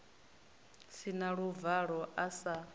si na luvalo a sa